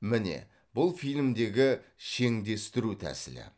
міне бұл фильмдегі шеңдестіру тәсілі